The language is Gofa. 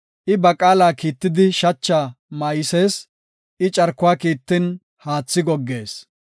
I ba qaala kiittidi shacha maaysees. I carkuwa kiittin haathi goggees.